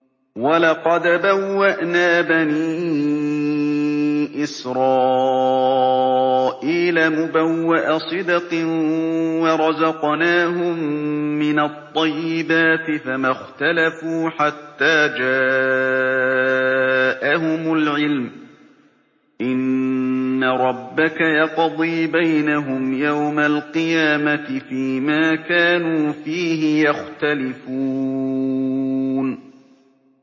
وَلَقَدْ بَوَّأْنَا بَنِي إِسْرَائِيلَ مُبَوَّأَ صِدْقٍ وَرَزَقْنَاهُم مِّنَ الطَّيِّبَاتِ فَمَا اخْتَلَفُوا حَتَّىٰ جَاءَهُمُ الْعِلْمُ ۚ إِنَّ رَبَّكَ يَقْضِي بَيْنَهُمْ يَوْمَ الْقِيَامَةِ فِيمَا كَانُوا فِيهِ يَخْتَلِفُونَ